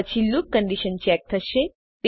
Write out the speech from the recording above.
પછી loop condition check થશે